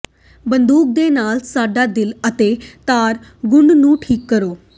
ਬੰਦੂਕ ਦੇ ਨਾਲ ਸਾਡਾ ਦਿਲ ਅਤੇ ਤਾਰ ਗੂੰਦ ਨੂੰ ਠੀਕ ਕਰੋ